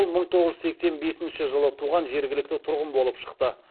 ол мың тоғыз жүз сексен бесінші жылы туған жергілікті тұрғын болып шықты